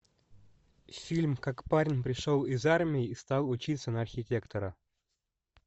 фильм как парень пришел из армии и стал учиться на архитектора